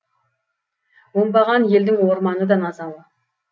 оңбаған елдің орманы да назалы